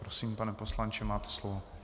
Prosím, pane poslanče, máte slovo.